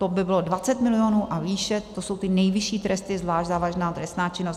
To by bylo 20 milionů a výše, to jsou ty nejvyšší tresty, zvlášť závažná trestná činnost.